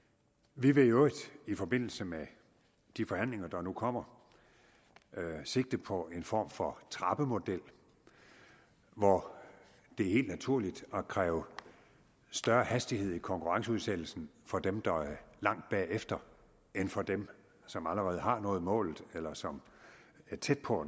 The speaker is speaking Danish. vi vil i øvrigt i forbindelse med de forhandlinger der nu kommer sigte på en form for trappemodel hvor det er helt naturligt at kræve større hastighed i konkurrenceudsættelsen for dem der er langt bagefter end for dem som allerede har nået målet eller som er tæt på